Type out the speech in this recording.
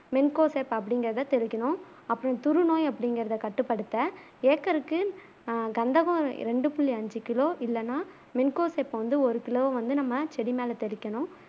மிங்கோசெப் அப்பிடிங்குறத தெளிக்கணும் அப்புறம் துரு நோய் அப்பிடிங்குறத கட்டுப்படுத்த ஏக்கருக்கு ஆஹ் கந்தகம் ரெண்டு புள்ளி அஞ்சு கிலோ இல்லனா மிங்கோசெப் வந்து ஒரு கிலோ வந்து நம்ம செடி மேல தெளிக்கணும்